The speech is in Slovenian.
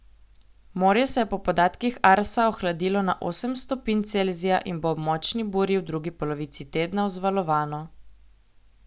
Morje se je po podatkih Arsa ohladilo na osem stopinj Celzija in bo ob močni burji v drugi polovici tedna vzvalovano.